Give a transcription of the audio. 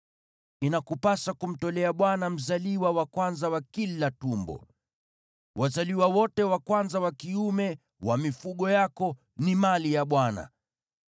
inakupasa kumtolea Bwana mzaliwa wa kwanza wa kila tumbo. Wazaliwa wote wa kwanza wa kiume wa mifugo yako ni mali ya Bwana .